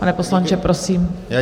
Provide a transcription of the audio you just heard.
Pane poslanče, prosím.